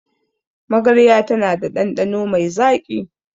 Magarya tana da ɗanɗano mai zaƙi.